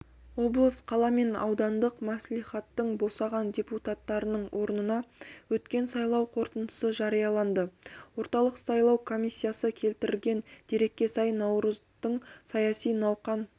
облыс қала мен аудандық мәслихаттың босаған депутаттарының орнына өткен сайлау қорытындысы жарияланды орталық сайлау комиссиясы келтірген дерекке сай наурыздың саяси науқан